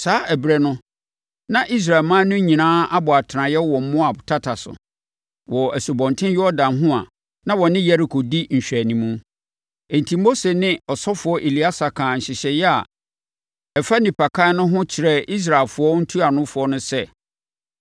Saa ɛberɛ no, na Israelman no nyinaa abɔ atenaeɛ wɔ Moab tata so, wɔ Asubɔnten Yordan ho a na wɔne Yeriko di nhwɛanimu. Enti Mose ne ɔsɔfoɔ Eleasa kaa nhyehyɛeɛ a ɛfa nnipakan no ho kyerɛɛ Israelfoɔ ntuanofoɔ no sɛ,